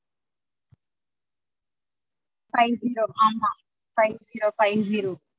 Five zero ஆமா five zero five zero